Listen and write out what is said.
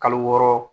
Kalo wɔɔrɔ